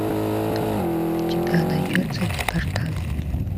у тебя найдется департамент